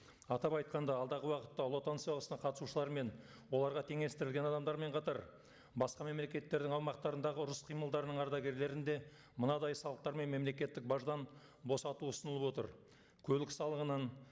атап айтқанда алдағы уақытта ұлы отан соғысына қатысушылар мен оларға теңестірілген адамдармен қатар басқа мемлекеттердің аумақтарындағы ұрыс қимылдарының ардагерлерін де мынадай салықтар мен мемлекеттік баждан босату ұсынылып отыр көлік салығынан